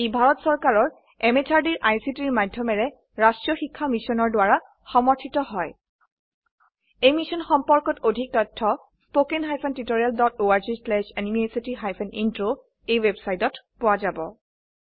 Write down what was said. ই ভাৰত চৰকাৰৰ MHRDৰ ICTৰ মাধয়মেৰে ৰাস্ত্ৰীয় শিক্ষা মিছনৰ দ্ৱাৰা সমৰ্থিত হয় এই মিশ্যন সম্পৰ্কত অধিক তথ্য spoken hyphen tutorial dot org slash এনএমইআইচিত হাইফেন ইন্ট্ৰ ৱেবচাইটত পোৱা যাব